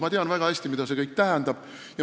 Ma tean väga hästi, mida see kõik tähendab.